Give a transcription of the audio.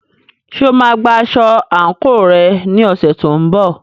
Ṣé o máa gba aṣọ àǹkóò rẹ ní ọ̀sẹ̀ tó ń bọ̀?